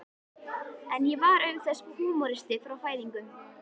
En ég var auk þess húmoristi frá fæðingu.